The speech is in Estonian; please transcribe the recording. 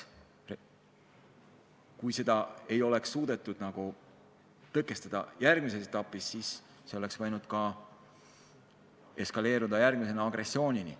Kui seda ei oleks suudetud tõkestada, siis see oleks võinud eskaleeruda agressioonini.